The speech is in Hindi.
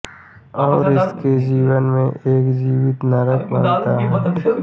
और उसके जीवन को एक जीवित नरक बनाता है